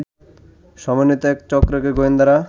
সমন্বিত এক চক্রকে গোয়েন্দারা